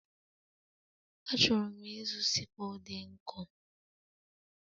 Achọrọ m ịzụ sickle dị nkọ.